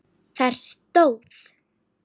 Þar stóð